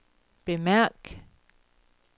bemærk